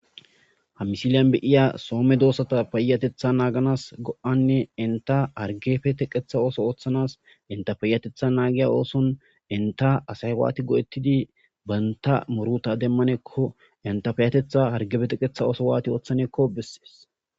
ha misiliyan beiya soome doossata peyatetha naaganas go7anne inta hargefe teqetha ooso ooththanas inta peyatetha naagiya ooson inta asay waati go7ettidi baynta moruta demmanekko inta payatetha hargebeteqetha ooso waati ooththanekko bessees